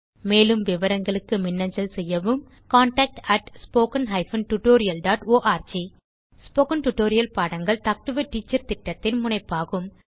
மேலும் விவரங்களுக்கு மின்னஞ்சல் செய்யவும் contactspoken tutorialorg ஸ்போகன் டுடோரியல் பாடங்கள் டாக் டு எ டீச்சர் திட்டத்தின் முனைப்பாகும்